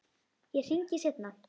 Ég hringi seinna.